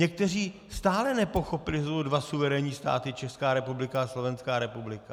Někteří stále nepochopili, že jsou tu dva suverénní státy, Česká republika a Slovenská republika.